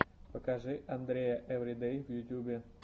покажи андрея эвридэй в ютубе